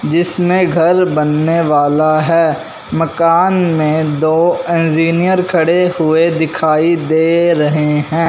जिसमें घर बनाने वाला है मकान में दो इंजीनियर खड़े हुए दिखाइ दे रहे हैं।